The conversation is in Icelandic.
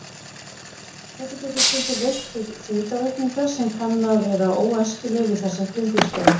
Þetta getur stundum leitt til þyngdaraukningar sem kann að vera óæskileg við þessar kringumstæður.